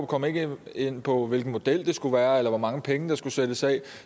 kom ikke ind på hvilken model det skulle være eller hvor mange penge der skulle sættes af